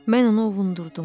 Mən onu ovutdum.